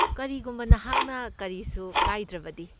ꯀꯔꯤꯒꯨꯝꯕ ꯅꯍꯥꯛꯅ ꯀꯔꯤꯁꯨ ꯀꯥꯏꯗ꯭ꯔꯕꯗꯤ꯫